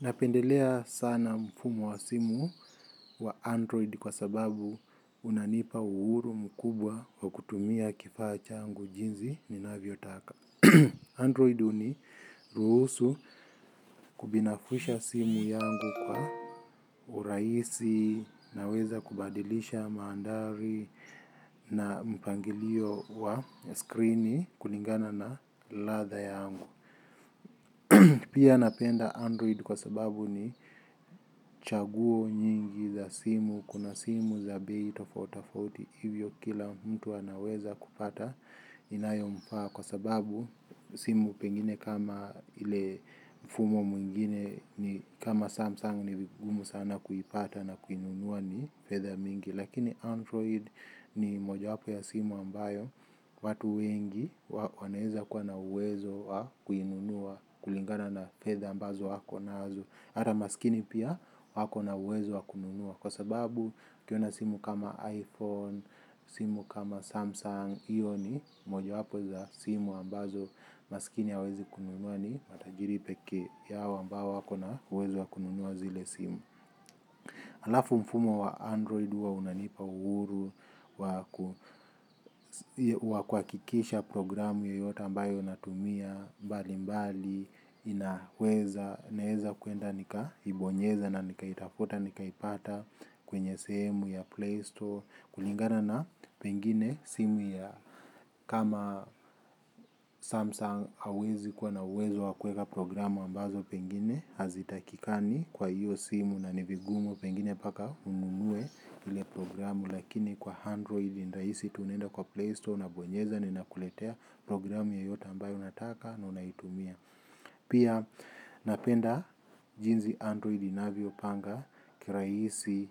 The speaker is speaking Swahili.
Napendelea sana mfumo wa simu wa Android kwa sababu unanipa uhuru mkubwa wa kutumia kifaa changu jinzi ninavyotaka. Android huniruhusu kubinafusha simu yangu kwa urahisi naweza kubadilisha maandari na mpangilio wa screeni kulingana na ladha yangu. Pia napenda Android kwa sababu ni chaguo nyingi za simu kuna simu za bei tofautitofauti hivyo kila mtu anaweza kupata inayomfaa kwa sababu simu oengine kama ile mfumo ingine ni ngumu sna kuipata na Lakini Android ni mojawapo ya simu ambayo watu wengi wanaeza kuwa na uwezo wa kuinunua kulingana na fedha ambazo ako nazo hata masikini pia ako na uwezo wa kununua. Kwa sababu akiona simu kama iPhone, simu kama Samsung. Iyo ni mojawapo za simu ambazo masikini hawezi kununua ni matajiri peke yao ambao wako na uwezo wa kununua zile simu. Alafu mfumo wa android huwa unanipa uhuru wa kuhakikisha programu yoyote ambayo natumia mbalimbali inaweza naeza kuenda nikahibonyeza na nikaitafuta nikaipata kwenye sehemu ya playstore kulingana na pengine simu ya kama samsung hauwezi kuwa na uwezo wa kueka programu ambazo pengine hazitakikani kwa hiyo simu na ni vigumu pengine mpaka ununue. Ile programu lakini kwa Android ni rahisi tu unaenda kwa Play Store unabonyeza na inakuletea programu yoyota ambayo unataka na unaitumia. Pia napenda jinzi Android inavyopanga kiraisi